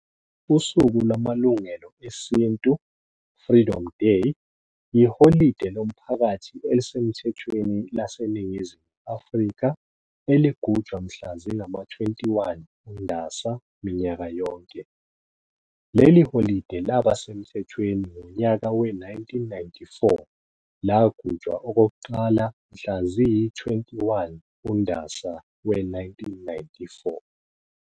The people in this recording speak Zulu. Usuku lwaMalungelo Esintu, eng-"Freedom Day",yiholide lomphakathi elisemthethweni lase Ningizimu Afrika eligujwa mhla zingama-21 uNdasa minyaka yonke. Leli holide laba semthethweni ngonyaka we-1994 lagujwa okokuqala mhla ziyi-21 uNdasa we-1994.